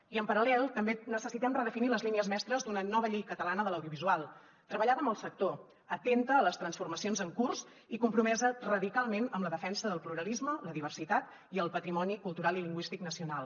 i en paral·lel també necessitem redefinir les línies mestres d’una nova llei catalana de l’audiovisual treballada amb el sector atenta a les transformacions en curs i compromesa radicalment amb la defensa del pluralisme la diversitat i el patrimoni cultural i lingüístic nacional